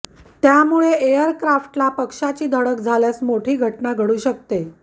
त्यामुळे एअरक्राफ्टला पक्ष्याची धडक झाल्यास मोठी घटना घडू शकते